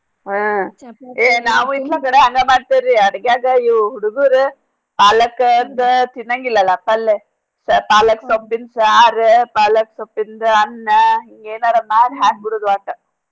ಹಾ ಏ ನಾವು ಇನ್ನೋಂದ ಸರಾ ಹಂಗ ಮಾಡ್ತಿವ್ ರೀ. ಅಡ್ಗ್ಯಾಗ ಈ ಹುಡ್ಗೂರ. ಪಾಲಕ್ ಅದ ತಿನಂಗಿಲ್ ಅಲ ಪಲ್ಲೇ. ಪಾಲಕ್ ಸೊಪ್ಪಿನ್ ಸಾರ ಪಾಲಕ್ ಸೊಪ್ಪಿನ್ದ್ ಅನ್ನ ಹಿಂಗೇನರ ಮಾಡ್ ಹಾಕ್ ಬಿಡುದ್ ಒಟ್ಟ.